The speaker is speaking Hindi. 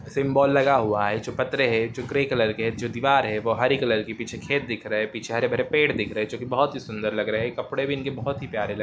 सिम्बोल लगा हुआ है जो पतरे है जो ग्रे कलर के है जो दीवार है वो हरी कलर की पीछे खेत दिख रहे है पीछे हरे भरे पेड़ दिख रहे है जो की बहुत ही सुन्दर लग रहे है कपड़े भी इनके बहुत प्यारे लग--